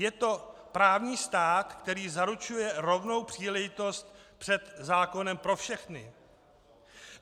Je to právní stát, který zaručuje rovnou příležitost před zákonem pro všechny.